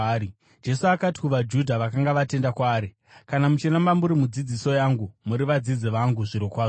Jesu akati kuvaJudha vakanga vatenda kwaari, “Kana muchiramba muri mudzidziso yangu, muri vadzidzi vangu zvirokwazvo.